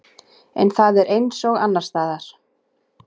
En það er eins og annarsstaðar.